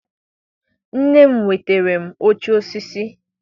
Nne m nwetara m oche osisi.